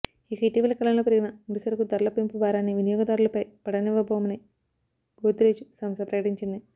ఇక ఇటీవలి కాలంలో పెరిగిన ముడి సరకు ధరల పెంపు భారాన్ని వినియోగదారులపై పడనివ్వబోమని గోద్రెజ్ సంస్థ ప్రకటించింది